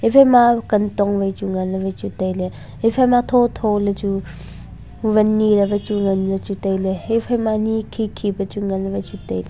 iphaima kantong vai chu nganle vai chu tailey iphaima tho tho le chu van nile vai chu ngan jau chu taile haiphaima ni khi khi pu chu nganle vai chu taile.